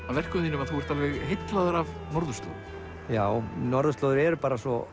af verkum þínum að þú ert heillaður af norðurslóðum já norðurslóðir eru bara svo